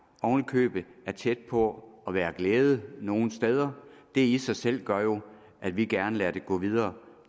oven i købet er tæt på at være glæde nogle steder og det i sig selv gør jo at vi gerne lader det gå videre